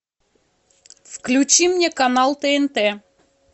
включи мне канал тнт